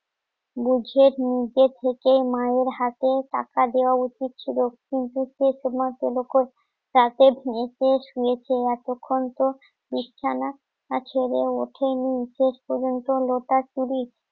থেকে মায়ের হাতে টাকা দেওয়া উচিত ছিল এতক্ষণ তো বিছানা ছেড়ে ওঠেনি শেষ পর্যন্ত লোটা চুরি